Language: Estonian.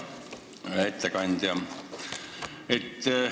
Hea ettekandja!